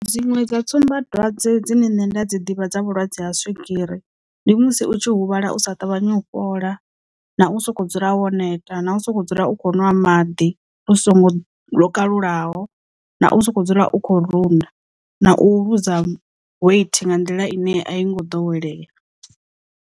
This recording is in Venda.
Dziṅwe dza tsumbadwadze dzine nṋe nda dzi ḓivha dza vhulwadze ha swigiri ndi musi u tshi huvhala u sa ṱavhanyi u fhola na u sokou dzula wo neta na u sokou dzula u kho nwa maḓi u songo lokalulaho na u sokou dzula u kho runda na u luza weight nga nḓila ine a i ngo ḓowelea.